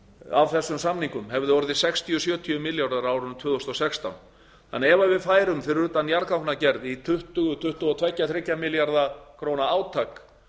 af þessum samningum hefði orðið sextíu til sjötíu milljarðar á árinu tvö þúsund og sextán þannig að ef við færum fyrir utan jarðgangagerð í tuttugu til tuttugu og þrjá milljarða króna átak